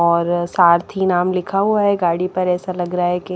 और सारथि नाम लिखा हुआ है गाड़ी पर ऐसा लग रहा है की --